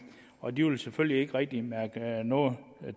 og de vil selvfølgelig ikke rigtig mærke noget